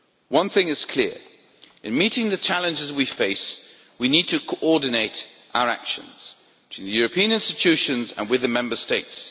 One thing is clear in meeting the challenges we face, we need to coordinate our action with the European institutions and with the Member States.